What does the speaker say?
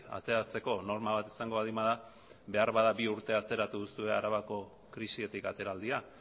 ateratzeko norma bat izango baldin bada beharbada bi urte atzeratu duzue arabako krisitik ateraldia